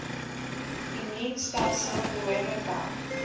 immuunstelsel behoorlik werk